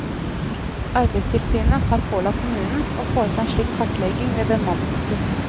Arbeidstilsynet har pålagt kommunen å foreta en slik kartlegging ved bemanningskutt.